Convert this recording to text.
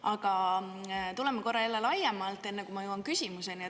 Aga tuleme korra jälle laiemalt, enne kui ma jõuan küsimuseni.